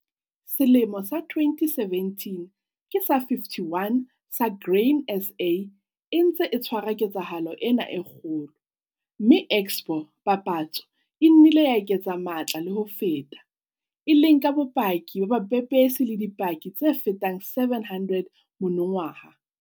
Selemo sa 2017 ke sa 51 sa Grain SA e ntse e tshwara ketsahalo ena e kgolo, mme expo, papatso, e nnile ya eketsa matla le ho feta, e leng ka bopaki ba bapepesi le dipaki tse fetang 700 monongwaha.